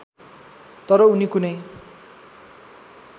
तर उनी कुनै